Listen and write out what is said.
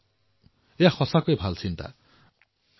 অঞ্জলীজী সঁচাকৈয়ে এয়া অতিশয় সুন্দৰ বিচাৰ